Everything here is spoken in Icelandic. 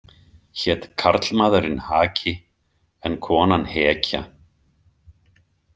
Hét karlmaðurinn Haki en konan Hekja.